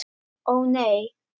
Ó nei!